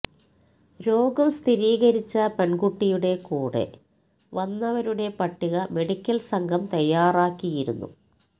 രോഗം സ്ഥിരീകരിച്ച പെൺകുട്ടിയുടെ കൂടെ വന്നവരുടെ പട്ടിക മെഡിക്കൽ സംഘം തയ്യാറാക്കിയിരുന്നു